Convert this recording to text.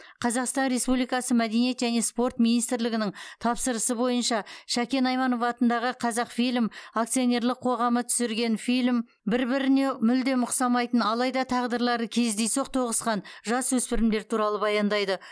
қазақстан республикасы мәдениет және спорт министрлігінің тапсырысы бойынша шәкен айманов атындағы қазақфильм акционерлік қоғамы түсірген фильм бір біріне мүлдем ұқсамайтын алайда тағдырлары кездейсоқ тоғысқан жасөспірімдер туралы баяндайды